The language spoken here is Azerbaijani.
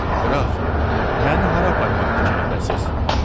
Qraf, məni hara aparmaq fikrindəsiz?